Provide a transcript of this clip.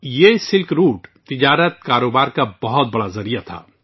یہ شاہراہ ریشم تجارت اور کاروبار کا ایک بہت بڑا ذریعہ تھا